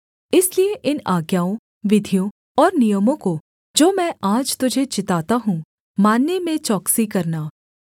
इसलिए इन आज्ञाओं विधियों और नियमों को जो मैं आज तुझे चिताता हूँ मानने में चौकसी करना